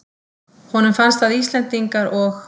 Honum finnst að Íslendingar og